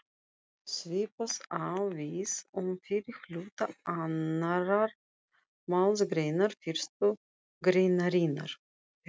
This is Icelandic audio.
Svipað á við um fyrri hluta annarrar málsgreinar fyrstu greinarinnar.